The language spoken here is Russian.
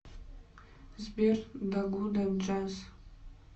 сбер да гуда джаз